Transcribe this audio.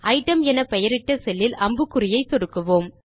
item என் பெயரிட்ட செல்லில் அம்புக்குறியை சொடுக்குவோம்